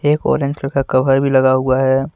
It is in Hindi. एक ऑरेंज का कवर भी लगा हुआ है।